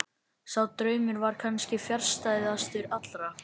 Sá draumur var kannski fjarstæðastur allra.